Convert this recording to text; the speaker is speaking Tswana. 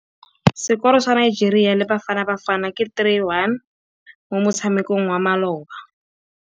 Sekôrô sa Nigeria le Bafanabafana ke 3-1 mo motshamekong wa malôba.